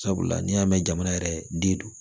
Sabula n'i y'a mɛn jamana yɛrɛ den don